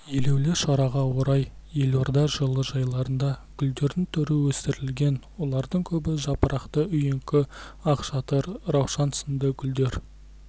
елеулі шараға орай елорда жылыжайларында гүлдердің түрі өсірілген олардың көбі жапырақты үйеңкі ақшатыр раушан сынды гүлдер